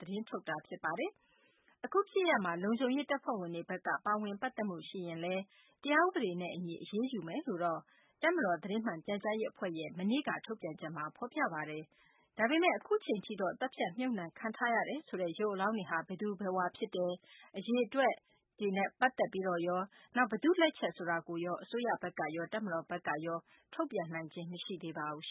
သတင်းထုတ်ပြန်ပါတယ်။ အခု ဖြစ်ရပ်မှာ လုံခြုံရေး တပ်ဖွဲ့ဝင်တွေဘက်က ပါဝင် ပတ်သက်မှု ရှိရင်လည်း တရားဥပဒေနဲ့ အညီ အရေးယူမယ်လို့လည်း တပ်မတော် သတင်းမှန် ပြန်ကြားရေး အဖွဲ့ရဲ့ ထုတ်ပြန်ချက်မှာ ဖော်ပြထားပါတယ်။ ဒါပေမယ့် အခုအချိန်ထိတော့ သတ်ဖြတ် မြုပ်နှံခံထားရတယ်ဆိုတဲ့ ရုပ်အလောင်းတွေဟာ ဘယ်သူဘယ်ဝါဖြစ်တယ်၊ အရေအတွက် ဘယ်လောက် ရှိတယ်ဆိုတာရော ၊ ဘယ်သူ့လက်ချက် ဖြစ်တယ်ဆိုတာရော အစိုးရဘက်ကရော တပ်မတော်ဘက်ကရော တစုံတရာ ထုတ်ပြန်နိုင်ခြင်း မရှိသေးပါဘူး။ အင်